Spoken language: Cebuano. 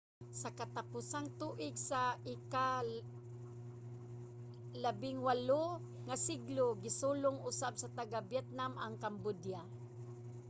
sa mga katapusang tuig sa ika-18 nga siglo gisulong usab sa taga-vietnam ang cambodia